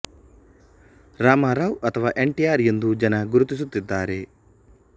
ರಾಮರಾವ್ ಅಥವಾ N T R ಎಂದು ಜನ ಗುರುತಿಸುತ್ತಿದ್ದಾರೆ